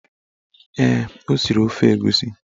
Ee, o siri ofe egusi